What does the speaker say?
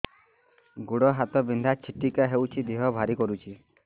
ଗୁଡ଼ ହାତ ବିନ୍ଧା ଛିଟିକା ହଉଚି ଦେହ ଭାରି କରୁଚି